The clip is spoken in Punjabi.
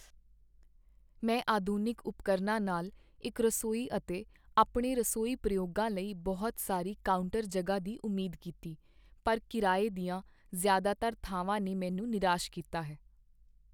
ਮੈਂ ਆਧੁਨਿਕ ਉਪਕਰਨਾਂ ਨਾਲ ਇੱਕ ਰਸੋਈ ਅਤੇ ਆਪਣੇ ਰਸੋਈ ਪ੍ਰਯੋਗਾਂ ਲਈ ਬਹੁਤ ਸਾਰੀ ਕਾਊਂਟਰ ਜਗ੍ਹਾ ਦੀ ਉਮੀਦ ਕੀਤੀ, ਪਰ ਕਿਰਾਏ ਦੀਆਂ ਜ਼ਿਆਦਾਤਰ ਥਾਵਾਂ ਨੇ ਮੈਨੂੰ ਨਿਰਾਸ਼ ਕੀਤਾ ਹੈ।